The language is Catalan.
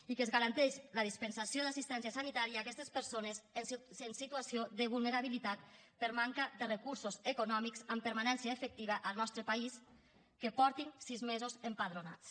i que es garanteix la dispensació d’assistència sanitària a aquestes persones en situació de vulnerabilitat per manca de recursos econòmics amb permanència efectiva al nostre país que faci sis mesos que estiguin empadronades